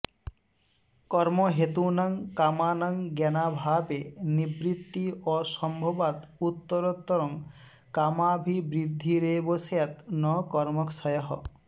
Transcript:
कर्महेतूनां कामानां ज्ञानाभावे निवृत्ति असम्भवात् उत्तरोत्तरं कामाभिवृद्धिरेव स्यात् न कर्मक्षयः